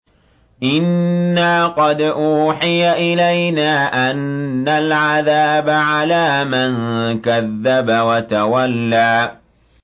إِنَّا قَدْ أُوحِيَ إِلَيْنَا أَنَّ الْعَذَابَ عَلَىٰ مَن كَذَّبَ وَتَوَلَّىٰ